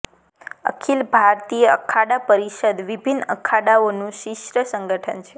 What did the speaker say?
અખીલ ભારતીય અખાડા પરિષદ વિભિન્ન અખાડાઓનું શીર્ષ સંગઠન છે